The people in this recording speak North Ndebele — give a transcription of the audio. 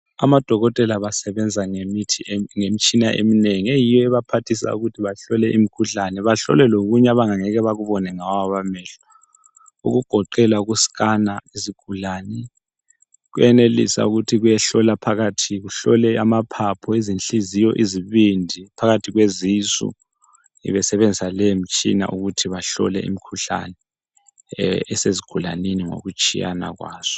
Amadokotela basebenza ngemitshina eminengi eyiyo ebaphathisa ukuthi bahlole imikhuhlane, bahlole lokunye abangeke bakubone ngawabo amehlo. Okugoqela uku skana izigulane, kuyenelisa ukuthi kuyehlola phakathi, kuhlole amaphuphu, izinhliziyo, izibindi, phakathi kwezisu, besebenzisa leyo mitshina ukuthi bahlole imikhuhlane esezigulaneni ngokutshiyana kwazo.